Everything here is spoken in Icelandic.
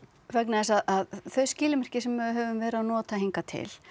vegna þess að þau skilmerki sem við höfum verið að nota hingað til